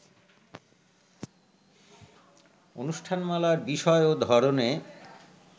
অনুষ্ঠানমালার বিষয় ও ধরনে